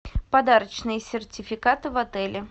подарочные сертификаты в отеле